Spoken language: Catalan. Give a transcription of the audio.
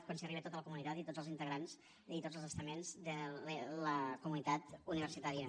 quan s’arriba a tota la comunitat i a tots els integrants i a tots els estaments de la comunitat universitària